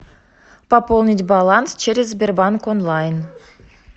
пополнить баланс через сбербанк онлайн